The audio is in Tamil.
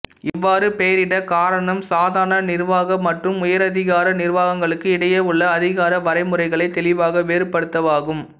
இவ்வாறு பெயரிடக் காரணம் சாதாரண நிர்வாக மற்றும் உயரதிகார நிர்வாகங்களுக்கு இடையே உள்ள அதிகார வரைமுறைகளை தெளிவாகத் வேறுபடுத்தவாகும்